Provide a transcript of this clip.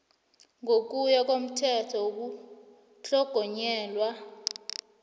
ngokuya komthetho wokutlhogonyelwa